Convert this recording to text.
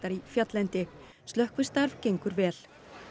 í fjalllendi slökkvistarf gengur vel